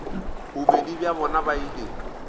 bobedi bja bona ba ile